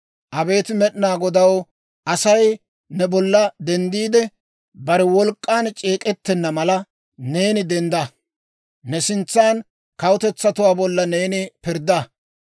Abeet Med'inaa Godaw, Asay ne bolla denddiide, bare wolk'k'aan c'eek'ettenna mala, neeni dendda! Ne sintsan kawutetsatuwaa bolla neeni pirddaa.